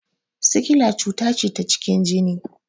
Sikila cuta ce ta cikin jini